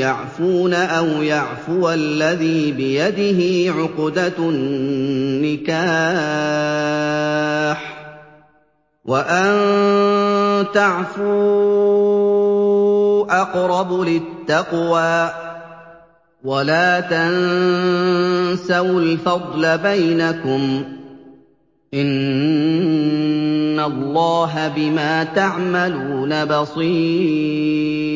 يَعْفُونَ أَوْ يَعْفُوَ الَّذِي بِيَدِهِ عُقْدَةُ النِّكَاحِ ۚ وَأَن تَعْفُوا أَقْرَبُ لِلتَّقْوَىٰ ۚ وَلَا تَنسَوُا الْفَضْلَ بَيْنَكُمْ ۚ إِنَّ اللَّهَ بِمَا تَعْمَلُونَ بَصِيرٌ